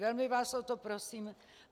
Velmi vás o to prosím.